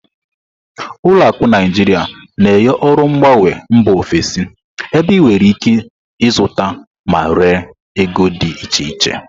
Ụlọ akụ Naijiria na-enye ọrụ mgbanwe mba ofesi, ebe ị nwere ike ịzụta ma ree ego dị iche iche.